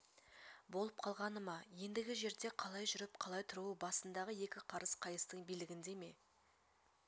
болып қалғаны ма ендігі жерде қалай жүріп қалай тұруы басындағы екі қарыс қайыстың билігінде ме